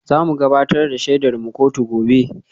Za mu gabatar da shaidarmu kotu gobe